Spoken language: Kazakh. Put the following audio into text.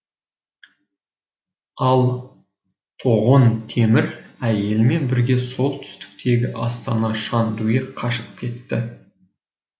ал тоғон темір әйелімен бірге солтүстіктегі астана шандуге қашып кетті